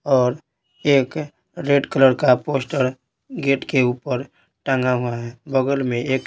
और एक red colour का पोस्टर गेट के ऊपर टंगा हुआ है बगल में एक--